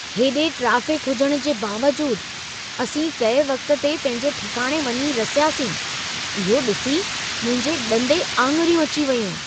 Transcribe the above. हेॾे ट्रेफ़िक हुजण जे बावजूदु, असीं तइ वक़्त ते पंहिंजे ठिकाणे वञी रसियासीं। इहो ॾिसी मुंहिंजे ॾंदे आंङुरियूं अची वयूं!